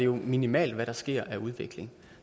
minimalt hvad der sker af udvikling